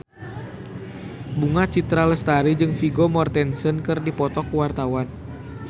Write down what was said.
Bunga Citra Lestari jeung Vigo Mortensen keur dipoto ku wartawan